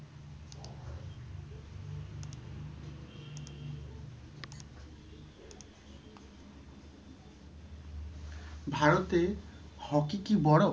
ভারতে hockey কি বড়ো?